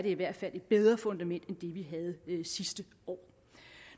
i hvert fald et bedre fundament end det vi havde sidste år